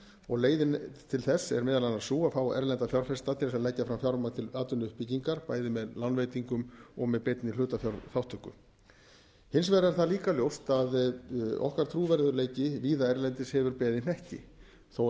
og leiðin til þess er meðal annars sú að fá erlenda fjárfesta til þess að leggja fram fjármagn til atvinnuuppbyggingar bæði með lánveitingum og með beinni hlutafjárþátttöku hins vegar er það líka ljóst að okkar trúverðugleiki víða erlendis hefur beðið hnekki þó er